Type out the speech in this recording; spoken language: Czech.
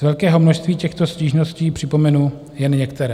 Z velkého množství těchto stížností připomenu jen některé.